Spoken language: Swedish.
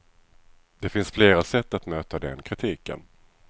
Det finns flera sätt att möta den kritiken.